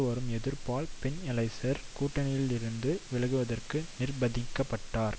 வரும் எதிர்ப்பால் பென்எலைசர் கூட்டணியிலிருந்து விலகுவதற்கு நிர்பந்திக்க பட்டார்